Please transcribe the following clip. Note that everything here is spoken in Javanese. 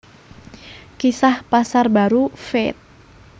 Kisah Pasar Baru Feat